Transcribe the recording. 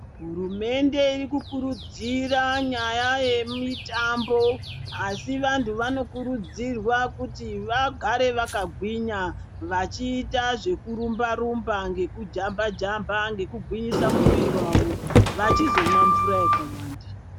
Hurumente iri kukurudzira nyaya yemutambo asi vantu vanokurudzirwa kuti vagare vakagwinya .Vachiita zvekurumba rumba ngekujamba jamba ngekugwinyisa muwiri wavo ,vachizomwa mvura yakawanda.